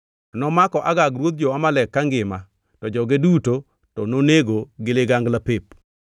Nomako Agag ruoth jo-Amalek kangima to joge duto to nonego gi ligangla pep.